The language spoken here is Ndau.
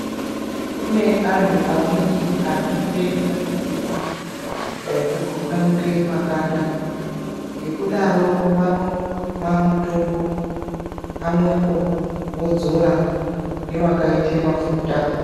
Kune antu amweni anoite dambudziko rekukwakwa nuke makanda ngekudaro vanomwa mutombo pamwepo vodzora newakaite mafuta